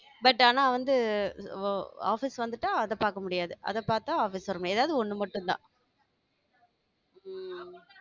But ஆனா வந்து, அஹ் office வந்துட்டா அதை பார்க்க முடியாது. அதை பார்த்தா office வரும் முடியாது ஏதாவது ஒண்ணு ஒண்ணு மட்டும்தான் தான்